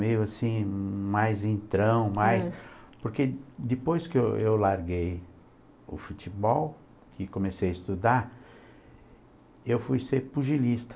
Meio assim, mais entrão, mais... Porque depois que eu eu larguei o futebol e comecei a estudar, eu fui ser pugilista.